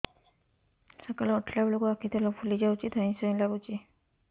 ସକାଳେ ଉଠିଲା ବେଳକୁ ଆଖି ତଳ ଫୁଲି ଯାଉଛି ଧଇଁ ସଇଁ ଲାଗୁଚି